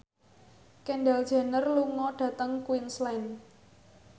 Kendall Jenner lunga dhateng Queensland